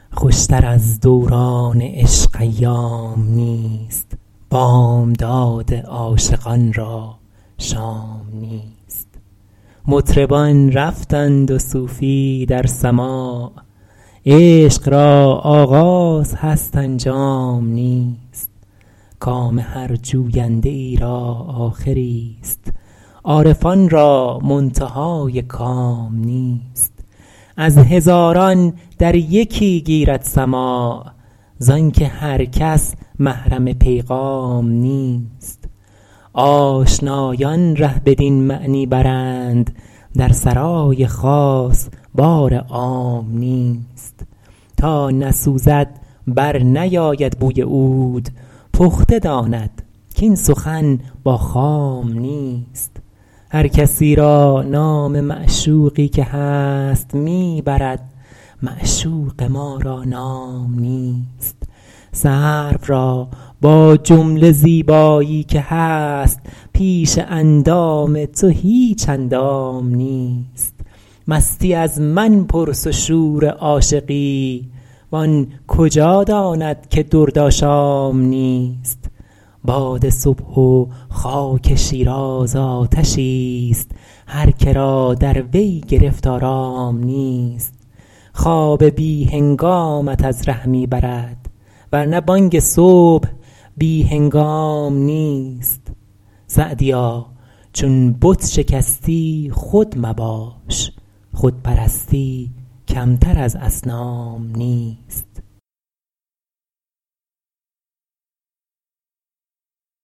خوشتر از دوران عشق ایام نیست بامداد عاشقان را شام نیست مطربان رفتند و صوفی در سماع عشق را آغاز هست انجام نیست کام هر جوینده ای را آخریست عارفان را منتهای کام نیست از هزاران در یکی گیرد سماع زآن که هر کس محرم پیغام نیست آشنایان ره بدین معنی برند در سرای خاص بار عام نیست تا نسوزد برنیاید بوی عود پخته داند کاین سخن با خام نیست هر کسی را نام معشوقی که هست می برد معشوق ما را نام نیست سرو را با جمله زیبایی که هست پیش اندام تو هیچ اندام نیست مستی از من پرس و شور عاشقی و آن کجا داند که درد آشام نیست باد صبح و خاک شیراز آتشیست هر که را در وی گرفت آرام نیست خواب بی هنگامت از ره می برد ور نه بانگ صبح بی هنگام نیست سعدیا چون بت شکستی خود مباش خود پرستی کمتر از اصنام نیست